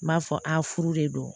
N b'a fɔ a furu de don